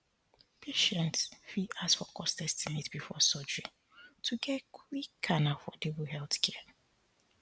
patients fit ask for cost estimate before surgery to get quick and affordable healthcare